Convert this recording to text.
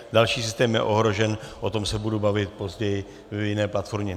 Další systém je ohrožen, o tom se budu bavit později v jiné platformě.